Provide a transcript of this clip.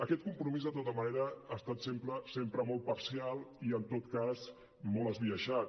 aquest compromís de tota manera ha estat sempre molt parcial i en tot cas molt esbiaixat